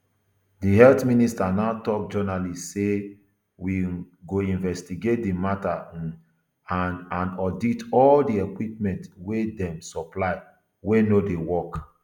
di health minister now tok journalists say we um go investigate di mata um and and audit all di equipment wia dem supply wey no dey work